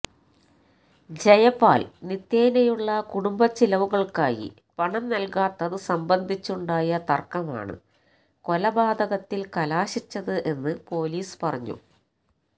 ജയപാല് നിത്യേനയുള്ള കുടുംബ ചിലവുകള്ക്കായി പണം നല്കാത്തത് സംബന്ധിച്ചുണ്ടായ തര്ക്കമാണ് കൊലപാതകത്തില് കലാശിച്ചത് എന്ന് പോലീസ് പറഞ്ഞു